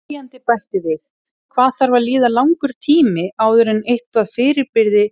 Spyrjandi bætir við: Hvað þarf að líða langur tími áður en eitthvað fyrirbrigði